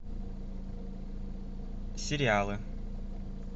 сериалы